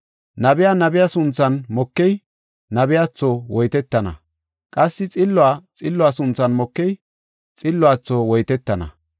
Nabiya nabe sunthan mokey, nabiyatho woytetana; qassi xilluwa xillo sunthan mokey, xilluwatho woytetana.